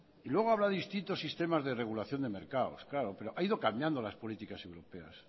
y luego habla de distintos sistemas de regulación de mercado pero ha ido cambiando las políticas europeas